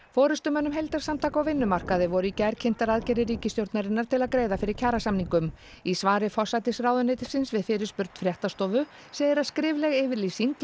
forystumönnum heildarsamtaka á vinnumarkaði voru í gær kynntar aðgerðir ríkisstjórnarinnar til að greiða fyrir kjarasamningum í svari forsætisráðuneytisins við fyrirspurn fréttastofu segir að skrifleg yfirlýsing